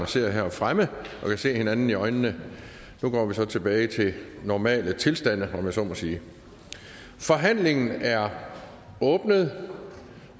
sidder her fremme og kan se hinanden i øjnene nu går vi så tilbage til normale tilstande om jeg så må sige forhandlingen er åbnet